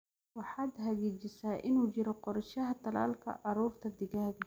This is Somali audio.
waxaad xagiijisaa in uu jiro qorshaha tallaalka caruurta digaaga.